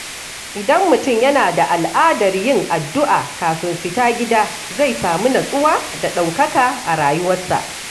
Idan mutum yana da al’adar yin addu’a kafin fita gida, zai samu natsuwa da ɗaukaka a rayuwarsa.